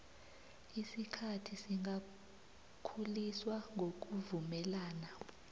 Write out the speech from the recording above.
isikhathi singakhuliswa ngokuvumelana